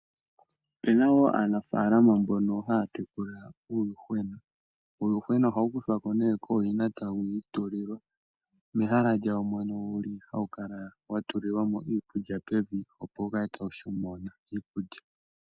Ope na wo aanafaalama mbono haya tekula uuyuhwena. Uuyuhwena ohawu kuthwa ko nee kooyina tawu itulilwa mehala lyawo mono wu li hawu kala wa tulilwa mo iikulya pevi opo wu kale tawu shomona iikulya.